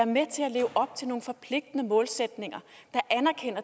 med til at leve op til nogle forpligtende målsætninger